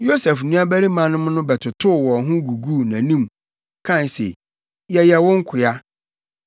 Yosef nuabarimanom no bɛtotow wɔn ho guguu nʼanim, kae se, “Yɛyɛ wo nkoa.”